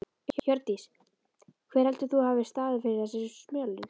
Hjördís: Hver heldur þú að hafi staðið fyrir þessari smölun?